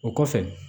O kɔfɛ